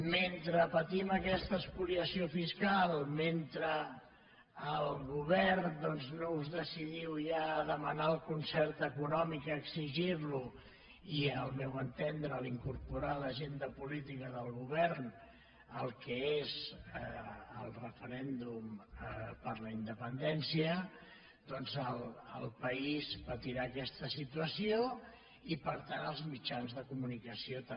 mentre patim aquesta espoliació fiscal mentre el govern doncs no us decidiu ja a demanar el concert econòmic a exigir lo i al meu entendre a incorporar a l’agenda política del govern el que és el referèndum per la independència doncs el país patirà aquesta situació i per tant els mitjans de comunicació també